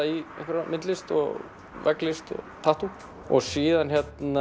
í einhverja myndlist og vegglist og tattú síðan